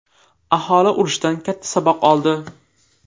Aholi urushdan katta saboq oldi.